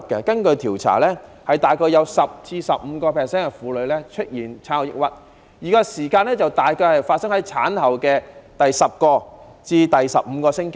根據調查，大概有 10% 至 15% 的婦女出現產後抑鬱，而發生時間大概在產後的第十至十五個星期。